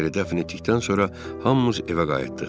Piteri dəfn etdikdən sonra hamımız evə qayıtdıq.